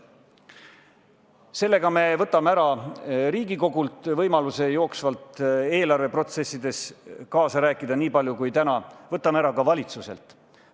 Sellega me võtame ära Riigikogult võimaluse jooksvalt eelarveprotsessides kaasa rääkida nii palju kui täna, võtame ära ka valitsuselt.